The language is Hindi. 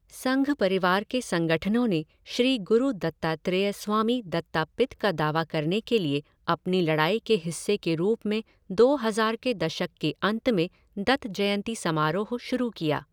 संघ परिवार के संगठनों ने श्री गुरु दत्तात्रेय स्वामी दत्तापित का दावा करने के लिए अपनी लड़ाई के हिस्से के रूप में दो हज़ार के दशक के अंत में दत्त जयंती समारोह शुरू किया।